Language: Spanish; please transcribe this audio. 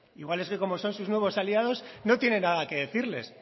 igual es que como son sus nuevos aliados no tiene nada que decirles